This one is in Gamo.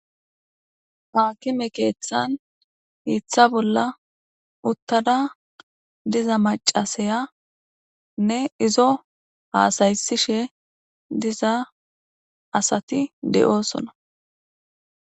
haakime keeththan hiiththa bolla uttada diza macasayanne izo haasaysishe diza asati de'oosona